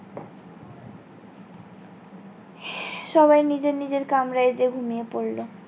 সবাই নিজের নিজের কামরায় গিয়ে ঘুমিয়ে পড়লো।